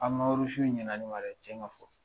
ɲɛna ne ma dɛ, tiɲɛ ka fɔ.